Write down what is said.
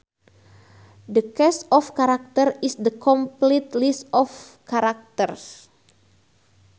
The cast of characters is the complete list of characters